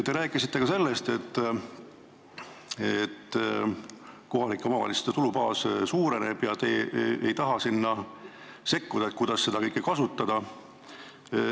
Te rääkisite, et kohalike omavalitsuste tulubaas suureneb ja teie ei taha sinna sekkuda, kirjutades ette, kuidas seda raha kasutada.